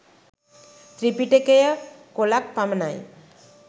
ත්‍රිපිටකය කොලක් පමණයි